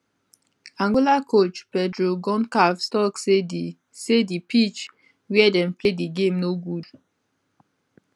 angola coach pedro goncalves tok say di say di pitch wia dem play di game no good